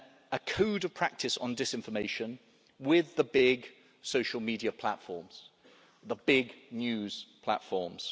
a Code of Practice on Disinformation with the big social media platforms, the big news platforms.